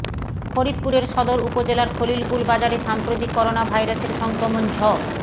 ফরিদপুরের সদর উপজেলার খলিলপুর বাজারে সাম্প্রতিক করোনাভাইরাসের সংক্রমণ ঝ